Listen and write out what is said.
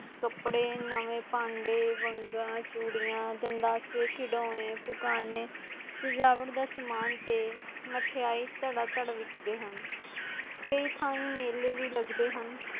ਕਪੜੇ ਨੈਵੇ ਪਾਂਡੇ, ਵਾਂਗਾ, ਚੁਡੀਆਂ, ਦੰਦਸੇ, ਖਿਦੋਨੇ ਸਜਾਵਤ ਦਾ ਸਮਾਨ ਦੇ ਮਿਠਾਈ, ਤੜਤੜ ਵਿੱਕਦੇ ਹਾਂ ਕਾਇਨ ਥਾਈਂ ਮੇਲੇ ਵੀ ਲਗਦੇ.